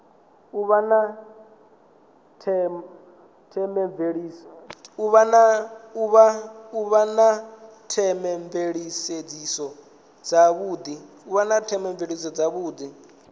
u vha na theomveledziso dzavhudi